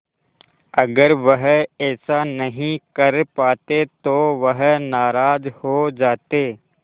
अगर वह ऐसा नहीं कर पाते तो वह नाराज़ हो जाते